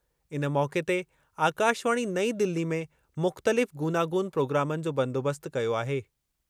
इन मौक़े ते आकाशवाणी नईं दिल्ली में मुख़्तलिफ़ गूनागून प्रोग्रामनि जो बंदोबस्त कयो आहे।